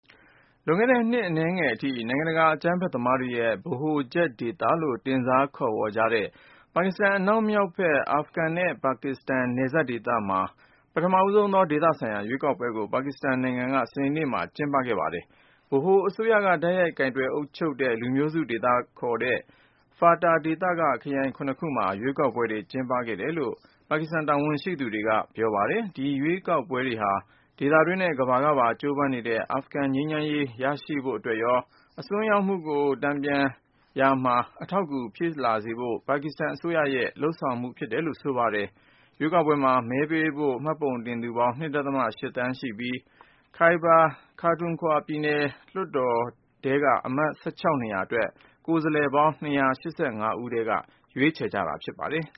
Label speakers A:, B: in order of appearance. A: လွန်ခဲ့တဲ့ နှစ်အနည်းငယ်အထိ နိုင်ငံတကာ အကြမ်းဖက်သမားတွေရဲ့ ဗဟိုချက်ဒေသလို့ တင်စားခေါ်ကြတဲ့ ပါကစ္စတန် အနောက်မြောက်ဘက် အာဖဂန်နဲ့ ပါကစ္စတန် နယ်စပ်ဒေသမှာ ပထမဦးဆုံးသော ဒေသဆိုင်ရာ ရွေးကောက်ပွဲကို ပါကစ္စတန်နိုင်ငံက စနေနေ့မှာ ကျင်းပခဲ့ပါတယ်။ ဗဟိုအစိုးရက တိုက်ရိုက် ကိုင်တွယ်အုပ်ချုပ်တဲ့ လူမျိုးစုဒေသလို့ ခေါ်တဲ့ FATA ဒေသက ခရိုင် ခုနစ်ခုမှာ ရွေးကောက်ပွဲတွေ ကျင်းပပေးခဲ့ တယ်လို့ ပါကစ္စတန် တာဝန်ရှိသူတွေကပြောပါတယ်။ ဒီရွေးကောက်ပွဲတွေဟာ ဒေသတွင်းနဲ့ ကမ္ဘာကပါ ကြိုးပမ်းနေတဲ့ အာဖဂန်ငြိမ်းချမ်း ရေးရဖို့အတွက်ရော အစွန်းရောက်မှုကို တန်ပြန်ရာမှာ အထောက်အကူဖြစ်လာစေဖို့ ပါကစ္စတန်အစိုးရရဲ့ လုပ်ဆောင်ခြင်းဖြစ်တယ်လို့ ဆိုပါတယ်။ ရွေးကောက်ပွဲမှာ မဲပေးဖို့ မှတ်ပုံတင်သူပေါင်း ၂.၈ သန်းလောက်ရှိပြီး Khyber Pakhtunkhwa ပြည်နယ်လွှတ်တော်ထဲက အမတ် ၁၆ နေရာ အတွက် ကိုယ်စားလှယ်ပေါင်း ၂၈
B: ၅ ဦးထဲက ရွေးချယ်ကြတာ ဖြစ်ပါတယ်။